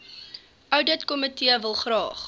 ouditkomitee wil graag